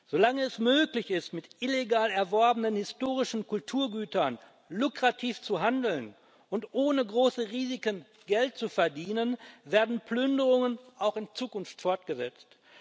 Solange es möglich ist, mit illegal erworbenen historischen Kulturgütern lukrativ zu handeln und ohne große Risiken Geld zu verdienen, werden Plünderungen auch in Zukunft fortgesetzt.